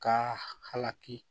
Ka halaki